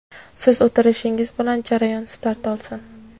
siz o‘tirishingiz bilan jarayon start olsin.